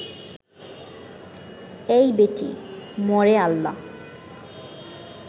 এই বেটি মরে আল্লাহ